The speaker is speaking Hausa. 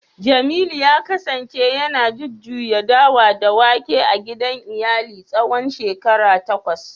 jemilu ya kasance yana jujjuya dawa da wake a gidan iyali tsawon shekaru takwas